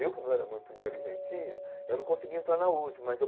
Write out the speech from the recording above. Eu, que não era muito inteligentinho, eu não conseguia entrar na USP, mas eu...